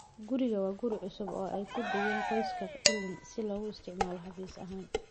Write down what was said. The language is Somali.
Gurigu waa guri cusub oo ay ku deeqeen qoyska Elneny si loogu isticmaalo xafiis ahaan.